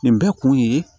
Nin bɛɛ kun ye